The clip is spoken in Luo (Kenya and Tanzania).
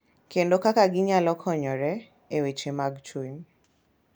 Kendo kaka ginyalo konyore e weche mag chuny.